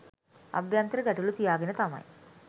අභ්‍යන්තර ගැටළු තියාගෙන තමයි